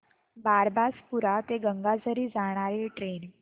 बारबासपुरा ते गंगाझरी जाणारी ट्रेन